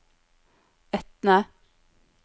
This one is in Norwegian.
Etne